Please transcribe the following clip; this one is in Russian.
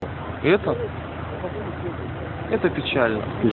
это это печально